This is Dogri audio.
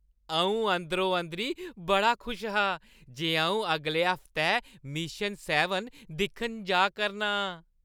अ‘ऊं अंदरो-अंदरी बड़ा खुश हा जे अ‘ऊं अगले हफ्तै मिशन सैबन दिक्खन जा करना आं ।